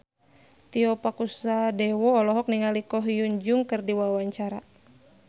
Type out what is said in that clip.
Tio Pakusadewo olohok ningali Ko Hyun Jung keur diwawancara